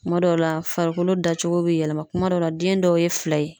Kuma dɔw la farikolo dacogo be yɛlɛma kuma dɔw la den dɔw ye fila ye.